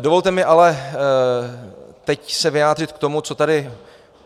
Dovolte mi se teď ale vyjádřit k tomu, co tady